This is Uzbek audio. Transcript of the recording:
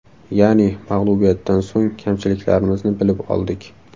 Ya’ni mag‘lubiyatdan so‘ng kamchiliklarimizni bilib oldik.